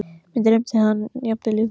Mig dreymdi hann jafnvel í nótt.